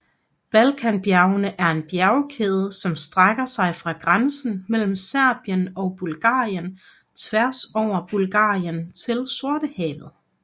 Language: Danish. Balkanbjergene er en bjergkæde som strækker sig fra grænsen mellem Serbien og Bulgarien tværs over Bulgarien til Sortehavet